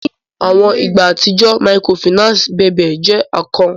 Ni awọn igba atijọ Microfinance bèbe jẹ ako.